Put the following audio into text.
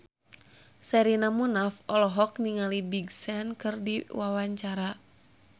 Sherina Munaf olohok ningali Big Sean keur diwawancara